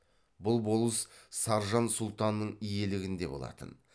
бұл болыс саржан сұлтанның иелігінде болатын